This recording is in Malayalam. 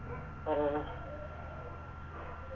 ഓ